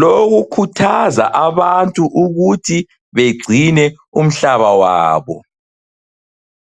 lokukhuthaza abantu ukuthi begcine umhlaba wabo.